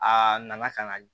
Aa nana kan